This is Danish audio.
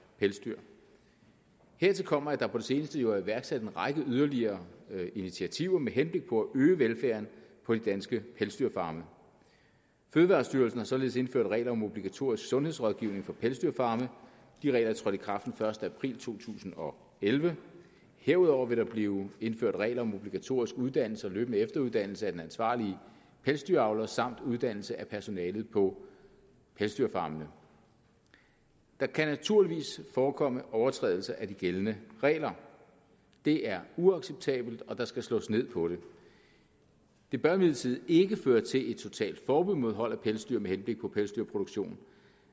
pelsdyr hertil kommer at der på det seneste jo er iværksat en række yderligere initiativer med henblik på at øge velfærden på de danske pelsdyrfarme fødevarestyrelsen har således indført regler om obligatorisk sundhedsrådgivning for pelsdyrfarme de regler er trådt i kraft den første april to tusind og elleve herudover vil der blive indført regler om obligatorisk uddannelse og løbende efteruddannelse af den ansvarlige pelsdyravler samt uddannelse af personalet på pelsdyrfarmene der kan naturligvis forekomme overtrædelser af de gældende regler det er uacceptabelt og der skal slås ned på det det bør imidlertid ikke føre til et totalt forbud mod hold af pelsdyr med henblik på pelsproduktion